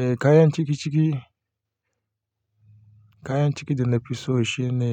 Eh kayan cikiciki, kayan ciki da na fi so shine